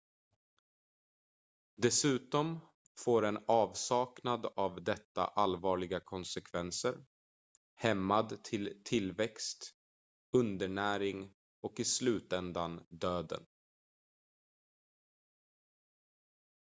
dessutom får en avsaknad av detta allvarliga konsekvenser hämmad tillväxt undernäring och i slutändan döden